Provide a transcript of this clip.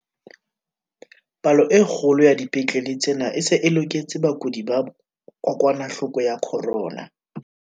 "Palo e kgolo ya dipetlele tsena e se e loketse bakudi ba kokwanahloko ya corona."